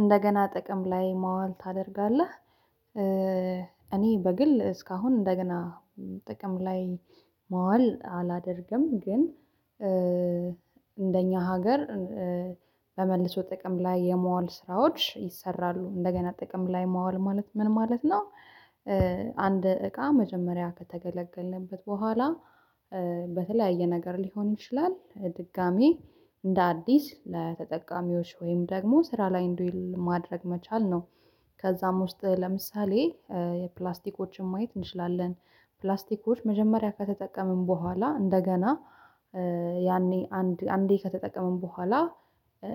እንደገና ጥቅም ላይ ማዋል ታደርጋለህ? እኔ በግል እስካሁን እንደገና ጥቅም ላይ ማዋል አላደርግም ግን እንደኛ ሀገር በመልሶ ጥቅም ላይ የማዋል ስራዎች ይሰራሉ እንደገና ጥቅም ላይ ማዋል ማለት ምን ማለት ነው? አንድ እቃ መጀመሪያ ከተገለገልንበት በኋላ በተለያየ ነገር ሊሆን ይችላል ድጋሚ እንደ አዲስ ለተጠቃሚዎች ወይም ደግሞ ስራ ላይ እንዲውል ማድረግ መቻል ነው። ከዛም ውስጥ ለምሳሌ የፕላስቲኮችን ማየት እንችላለን ፕላስቲኮች መጀመሪያ ከተጠቀምን በኋላ እንደገና ያኔ አንድ አንዴ ከተጠቀምን በኋላ